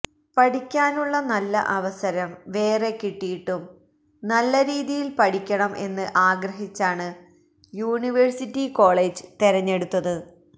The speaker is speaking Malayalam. പഠിക്കാനുള്ള നല്ല അവസരം വേറെ കിട്ടിയിട്ടും നല്ലരീതിയില് പഠിക്കണം എന്ന് ആഗ്രഹിച്ചാണ് യൂണിവേഴ്സിറ്റി കോളേജ് തെരഞ്ഞെടുത്തത്